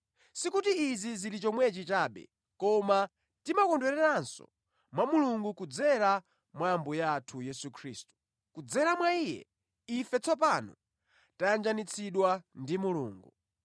Sikuti izi zili chomwechi chabe, koma timakondweranso mwa Mulungu kudzera mwa Ambuye athu Yesu Khristu. Kudzera mwa Iye, ife tsopano tayanjanitsidwa ndi Mulungu.